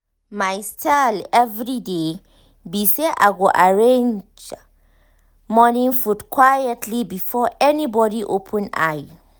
my style everyday be say i go arrange morning food quietly before anybody open eye